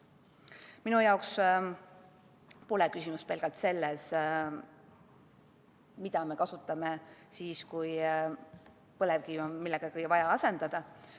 Minu jaoks pole küsimus pelgalt selles, mida me kasutame siis, kui põlevkivi on vaja millegagi asendada.